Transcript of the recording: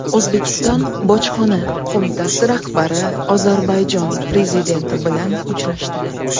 O‘zbekiston bojxona qo‘mitasi rahbari Ozarbayjon prezidenti bilan uchrashdi.